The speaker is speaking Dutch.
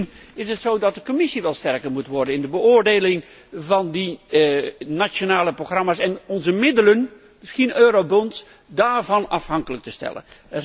En misschien is het wel zo dat de Commissie sterker moet worden in de beoordeling van die nationale programma's. En moeten we daar onze middelen, misschien eurobonds, van afhankelijk te stellen.